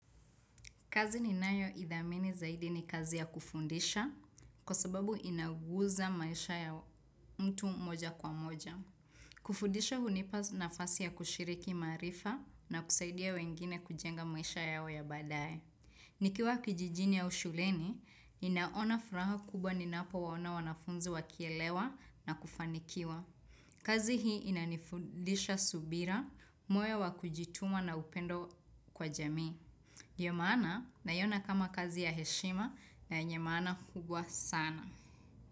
Kazi ni nayo ithamini zaidi ni kazi ya kufundisha kwa sababu inaguza maisha ya mtu mmoja kwa mmoja. Kufundisha hunipa na fasi ya kushiriki maarifa na kusaidia wengine kujenga maisha yao ya baadaye. Nikiwa kijijini au shuleni, inaona furaha kubwa ninapo waona wanafunzi wakielewa na kufanikiwa. Kazi hii ina nifundisha subira, moyo wa kujituma na upendo kwa jamii. Yemana nayona kama kazi ya heshima na yenye maana kubwa sana.